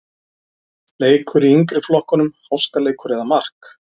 Leikur í yngri flokkunum-Háskaleikur eða mark?